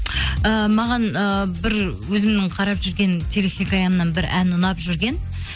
ііі маған і бір өзімнің қарап жүрген телехикаямнан бір ән ұнап жүрген